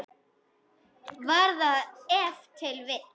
Var það ef til vill.